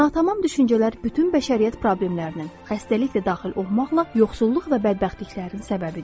Natamam düşüncələr bütün bəşəriyyət problemlərinin, xəstəlik də daxil olmaqla yoxsulluq və bədbəxtliklərin səbəbidir.